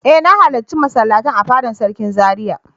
E! Na halarci masallatai a fada sarki Zaria.